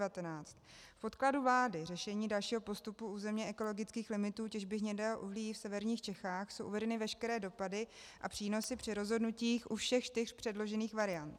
V podkladu vlády Řešení dalšího postupu územně ekologických limitů těžby hnědého uhlí v severních Čechách jsou uvedeny veškeré dopady a přínosy při rozhodnutích u všech čtyř předložených variant.